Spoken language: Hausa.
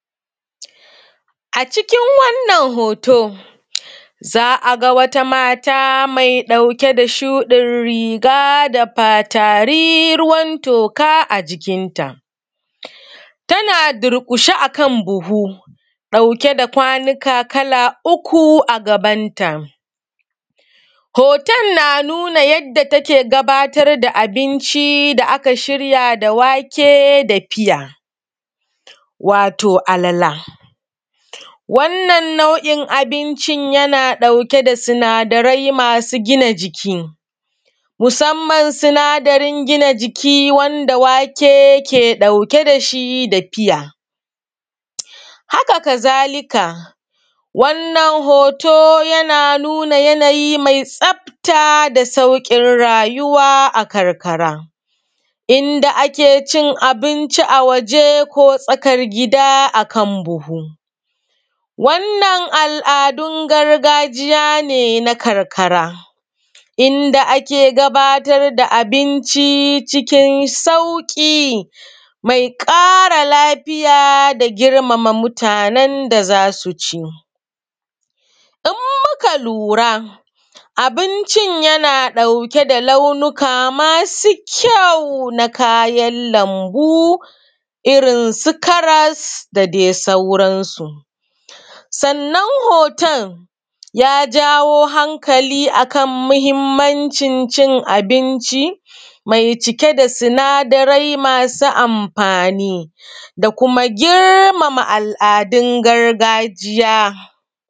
A cikin wanan hoto za a ga wata mata mai ɗauke da shuɗin riga da fatari ruwan toka a jikinta. Tana durƙushe akan buhu ɗauke da kwaika kala uku a gabanta hoton, yana nuna yadda take gudana da abinci da aka shirya da wake fiya wato alala. Wannan nau’in abincin yana ɗauke da siadarai masu gina jiki musamman sinadarin gina jiki wanda wake yake ɗauke da shi da fiya, haka ka zalika wannan hoto yana nuna yanayi me tsafta da sauƙin rayuwa a karkara. Inda ake cin abinci a waje ko tsakar gida akan wannan al’adun gargajiya ne na karkara, inda ake gabatar da abinci a cikin sauƙi mai ƙara lafiya da girmama mutanen da za su ci. In muka lura abincin yana ɗauke da launika masu kyau na kayan lanbu irin su karas da dai sauransu, sannan hoton ya jawo hakali akan muhinmancin cin abinci me cike da sinadarai masu amfani da kuma girmama al’adun gargajiya.